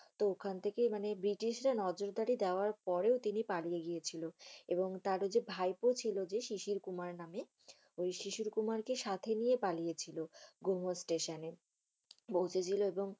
তো ওখান থেকে মানি ব্রিটিশরা নর্ট-বেঙ্গলে যাওয়ার পরে তিনি পালিয়ে গিয়েছিল। এবং তার যে ভাইপো ছিল যে শিশির কোমার নামে।, ঐ শিশির কোমার কে সাথে নিয়ে পালিয়েছিল। মোগো Station পৌছেছিল। এবং